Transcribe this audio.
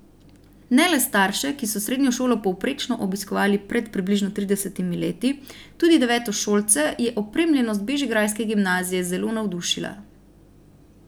Ne le starše, ki so srednjo šolo povprečno obiskovali pred približno tridesetimi leti, tudi devetošolce je opremljenost bežigrajske gimnazije zelo navdušila.